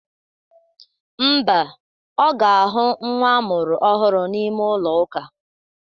Ḿbà, oga ahụ nwa amụrụ ọhụrụ n'ime ụlọ ụka